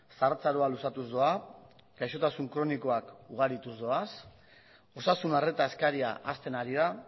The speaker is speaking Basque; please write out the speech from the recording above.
zahartzaroa luzatuz doa gaixotasun kronikoak ugarituz doaz osasun arreta eskaria hazten ari da